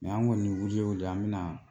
an ŋɔni wili o wili an bɛna